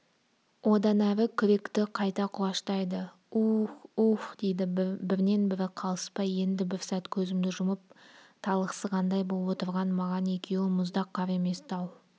одан әрі күректі қайта құлаштайды у-ух у-ух дейді бірінен-бірі қалыспай енді бір сәт көзімді жұмып талықсығандай боп отырған маған екеуі мұздақ қар емес тау